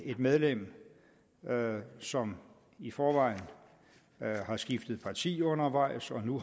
medlem som i forvejen har skiftet parti undervejs og nu